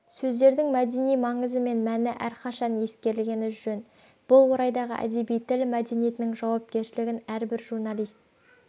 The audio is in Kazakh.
сөздердің мәдени маңызы мен мәні әрқашан ескерілгені жөн бұл орайдағы әдеби тіл мәдениетінің жауапкершілігін әрбір журналист